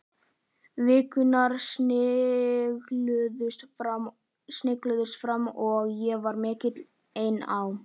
Vikurnar snigluðust áfram og ég var mikið ein á